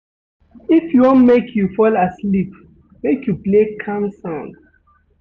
If you wan make you fall asleep, make you play calm sound.